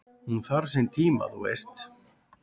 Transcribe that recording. """Hún þarf sinn tíma, þú veist"""